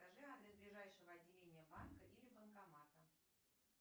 скажи адрес ближайшего отделения банка или банкомата